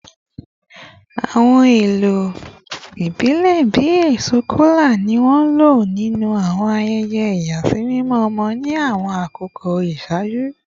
Awọn ohun elo ibilẹ bii eso kola ni wọn lo ninu awọn ayẹyẹ iyasimimọ ọmọ ni awọn akoko iṣaaju